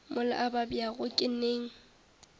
mola a babjago ke neng